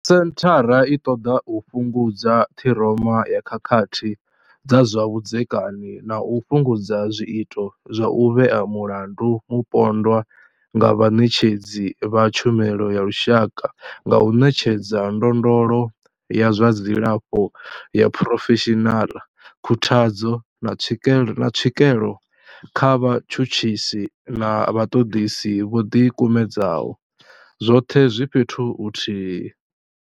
Senthara i ṱoḓa u fhungudza ṱhiroma ya khakhathi dza zwa vhudzekani na u fhungudza zwiito zwa u vhea mulandu mupondwa nga vhaṋetshedzi vha tshumelo ya lushaka nga u ṋetshedza ndondolo ya zwa dzilafho ya phurofeshinala, khuthadzo, na tswikelo kha vhatshutshisi na vhaṱoḓisi vho ḓikumedzaho, zwoṱhe zwi fhethu huthihi.